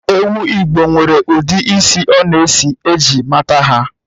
Ewu Igbo nwere ụdị isi ọ na-esi eji mata ya